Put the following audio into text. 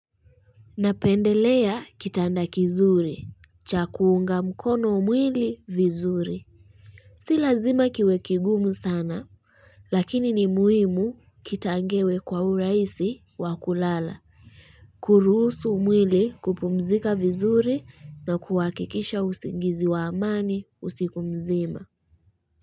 Napendelea kitanda kizuri, cha kuunga mkono mwili vizuri. Si lazima kiwe kigumu sana, lakini ni muhimu kitangewe kwa uraisi wa kulala. Kuruhusu mwili kupumzika vizuri na kuhakikisha usingizi wa amani usiku mzima.